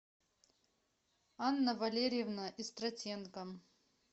анна валерьевна истратенко